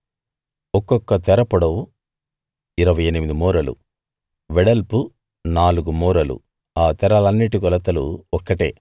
ఒక్కొక్క తెర పొడవు 28 మూరలు వెడల్పు నాలుగు మూరలు ఆ తెరలన్నిటి కొలతలు ఒక్కటే